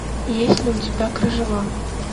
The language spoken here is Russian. есть ли у тебя кружева